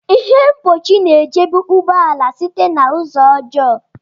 Ihe mgbochi na-echebe ụgbọ ala site na ụzọ ọjọọ